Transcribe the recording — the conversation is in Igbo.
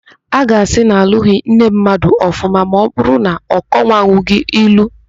A ga-asị na alụghị nne mmadụ ọfụma ma ọbụrụ na ọ kọwanwughi ilu.